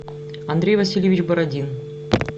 андрей васильевич бородин